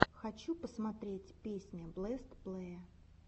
хочу посмотреть песня бэст плэе